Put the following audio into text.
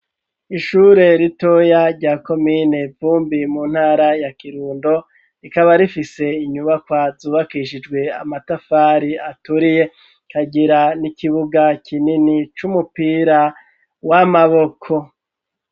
Ishure ritoya rya komine Vumbi mu ntara ya Kirundo rikaba rifise inyubakwa zubakishijwe amatafari aturiye ikagira n'ikibuga kinini c'umupira w'amaboko